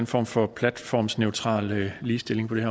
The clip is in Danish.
form for platformsneutral ligestilling på det